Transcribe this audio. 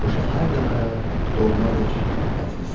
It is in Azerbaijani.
O şəhər də mənə doğmadır, əziz.